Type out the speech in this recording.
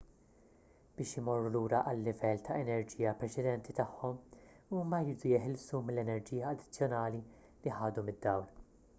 biex imorru lura għal-livell ta' enerġija preċedenti tagħhom huma jridu jeħilsu mill-enerġija addizzjonali li ħadu mid-dawl